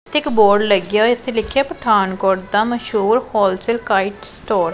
ਤੇ ਇੱਕ ਬੋਰਡ ਲੱਗਿਆ ਹੋਇਆ ਇੱਥੇ ਲਿੱਖਿਆ ਪਠਾਨਕੋਟ ਦਾ ਮਸ਼ਹੂਰ ਹੋਲਸੇਲ ਕਾਇਟ ਸਟੋਰ ।